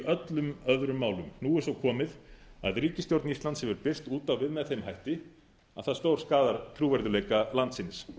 öllum öðrum málum nú er svo komið að ríkisstjórn íslands hefur birst út á við með þeim hætti að það stórskaðar trúverðugleika landsins